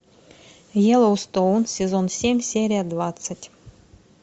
йеллоустоун сезон семь серия двадцать